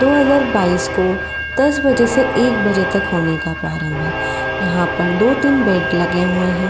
दो हज़ार बाइस को दस बजे से एक बजे तक होने का प्रारंभ है। यहाँ पर दो तीन बेड लगे हुए हैं।